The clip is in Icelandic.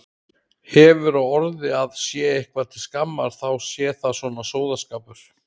Hefur á orði að sé eitthvað til skammar þá sé það svona sóðaskapur.